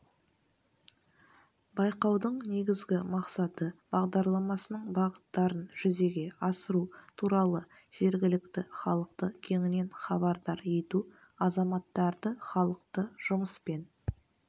байқаудың негізгі мақсаты бағдарламасының бағыттарын жүзеге асыру туралы жергілікті халықты кеңінен хабардар ету азаматтарды халықты жұмыспен